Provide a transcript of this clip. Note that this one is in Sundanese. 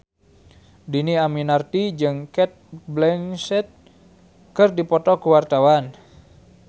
Dhini Aminarti jeung Cate Blanchett keur dipoto ku wartawan